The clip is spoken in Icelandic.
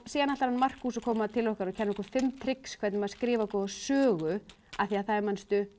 síðan ætlar Markús að koma til okkar og kenna okkur fimm trix hvernig maður skrifar góða sögu af því það er manstu